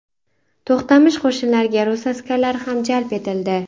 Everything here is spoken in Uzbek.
To‘xtamish qo‘shinlariga rus askarlari ham jalb etildi.